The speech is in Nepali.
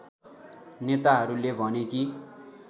नेताहरूले भने कि